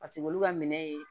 Paseke olu ka minɛn ye